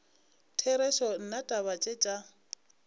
therešo nna taba tše tša